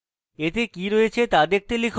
এতে কি রয়েছে to দেখতে লিখুন: